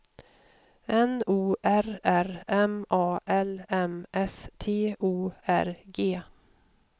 N O R R M A L M S T O R G